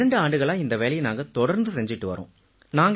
இரண்டு ஆண்டுகளா இந்த வேலையை நாங்க தொடர்ந்து செஞ்சிட்டு வர்றோம்